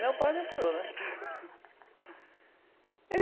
Meu pai me apoiou, né?